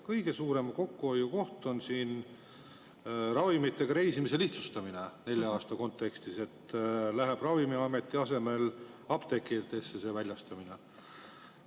Kõige suurem kokkuhoiukoht on ravimitega reisimise lihtsustamine nelja aasta kontekstis, see väljastamine läheb Ravimiameti asemel apteekidesse.